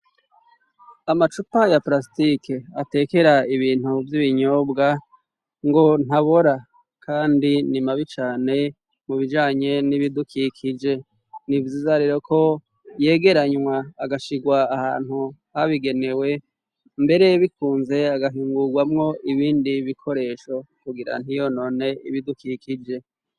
Amacupa ya parasitiki atekera ibintu by'ibinyobwa ngo ntabora kandi nimabicane mu bijanye n'ibidukikije nibzizarero ko yegeranywa agashigwa ahantu habigenewe mbere bikunze agahingurwamwo ibindi bikoresho kugira ntiyonone ibidukikije.